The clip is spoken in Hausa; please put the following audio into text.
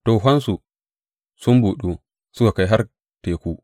Tohonsu sun buɗu suka kai har teku.